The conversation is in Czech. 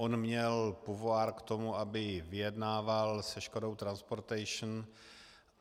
On měl pouvoir k tomu, aby vyjednával se Škodou Transportation.